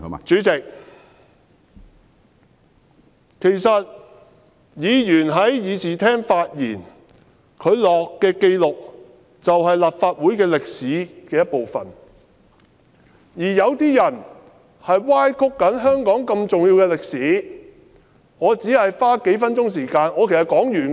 主席，其實議員在議事廳發言，所作的紀錄是立法會歷史的一部分，有些人正在歪曲香港如此重要的歷史，我只是花數分鐘時間......